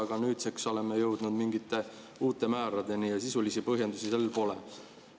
Aga nüüdseks oleme jõudnud mingite uute määradeni ja sisulisi põhjendusi neil pole.